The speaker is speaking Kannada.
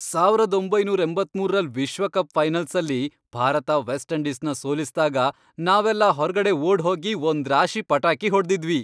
ಸಾವರದ್ ಒಂಬೈನೂರ ಎಂಬತ್ಮೂರರಲ್ ವಿಶ್ವಕಪ್ ಫೈನಲ್ಸಲ್ಲಿ ಭಾರತ ವೆಸ್ಟ್ ಇಂಡೀಸ್ನ ಸೋಲಿಸ್ದಾಗ, ನಾವೆಲ್ಲ ಹೊರ್ಗಡೆ ಓಡ್ಹೋಗಿ ಒಂದ್ರಾಶಿ ಪಟಾಕಿ ಹೊಡ್ದಿದ್ವಿ.